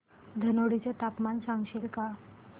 धनोडी चे तापमान सांगशील का